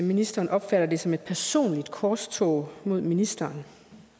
ministeren opfatter det som et personligt korstog mod ministeren